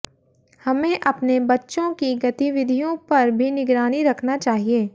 हमें अपने बच्चों की गतिविधियों पर भी निगरानी रखना चाहिए